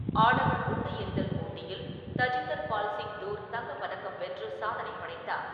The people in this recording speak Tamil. ஆடவர் குண்டு எறிதல் போட்டியில் தஜிந்தர் பால் சிங் தூர் தங்கப்பதக்கம் வென்று சாதனை படைத்தார்.